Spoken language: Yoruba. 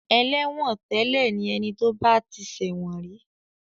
Ẹlẹ́wọ̀ntẹ́lẹ̀ ni ẹni tí ó bá ti ṣẹ̀wọ̀n rí.